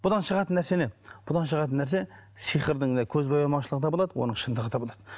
бұдан шығатын нәрсе не бұдан шығатын нәрсе сиқырдың да көзбоямаушылығы да болады оның шындығы да болады